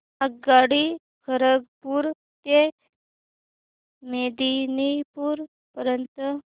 आगगाडी खरगपुर ते मेदिनीपुर पर्यंत